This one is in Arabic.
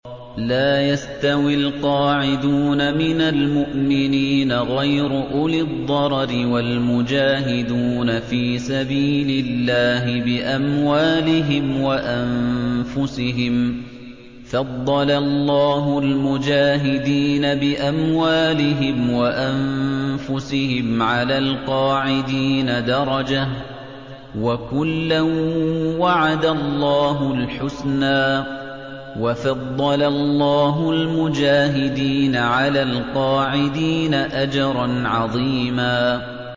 لَّا يَسْتَوِي الْقَاعِدُونَ مِنَ الْمُؤْمِنِينَ غَيْرُ أُولِي الضَّرَرِ وَالْمُجَاهِدُونَ فِي سَبِيلِ اللَّهِ بِأَمْوَالِهِمْ وَأَنفُسِهِمْ ۚ فَضَّلَ اللَّهُ الْمُجَاهِدِينَ بِأَمْوَالِهِمْ وَأَنفُسِهِمْ عَلَى الْقَاعِدِينَ دَرَجَةً ۚ وَكُلًّا وَعَدَ اللَّهُ الْحُسْنَىٰ ۚ وَفَضَّلَ اللَّهُ الْمُجَاهِدِينَ عَلَى الْقَاعِدِينَ أَجْرًا عَظِيمًا